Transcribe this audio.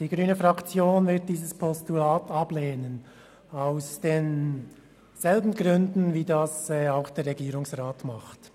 Die grüne Fraktion wird dieses Postulat aus denselben Gründen wie der Regierungsrat ablehnen.